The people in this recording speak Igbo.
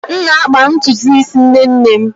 M na-akpa ntutu isi nne nne m.